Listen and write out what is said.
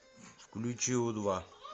включи у два